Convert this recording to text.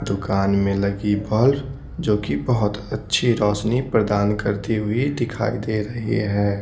दुकान में लगी बल्फ जो कि बहुत अच्छी रोशनी प्रदान करती हुई दिखाई दे रही है।